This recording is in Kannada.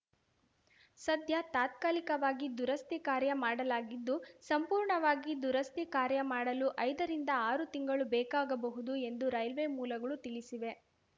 ಸದ್ಯ ತಾತ್ಕಾಲಿಕವಾಗಿ ದುರಸ್ತಿ ಕಾರ್ಯ ಮಾಡಲಾಗಿದ್ದು ಸಂಪೂರ್ಣವಾಗಿ ದುರಸ್ತಿ ಕಾರ್ಯಮಾಡಲು ಐದರಿಂದಆರು ತಿಂಗಳು ಬೇಕಾಗಬಹುದು ಎಂದು ರೈಲ್ವೆ ಮೂಲಗಳು ತಿಳಿಸಿವೆ